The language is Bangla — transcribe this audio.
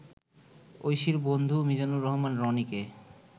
ঐশীর বন্ধু মিজানুর রহমান রনিকে